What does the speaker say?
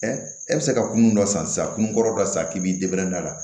e bɛ se ka kunun dɔ san sisan kunun kɔrɔ dɔ san k'i b'i a la